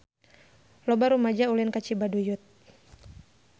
Loba rumaja ulin ka Cibaduyut